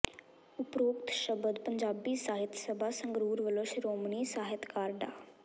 ਉਪਰੋਕਤ ਸ਼ਬਦ ਪੰਜਾਬੀ ਸਾਹਿਤ ਸਭਾ ਸੰਗਰੂਰ ਵੱਲੋਂ ਸ਼੍ਰੋਮਣੀ ਸਾਹਿਤਕਾਰ ਡਾ